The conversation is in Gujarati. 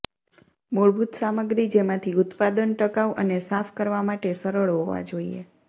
મૂળભૂત સામગ્રી જેમાંથી ઉત્પાદન ટકાઉ અને સાફ કરવા માટે સરળ હોવા જોઈએ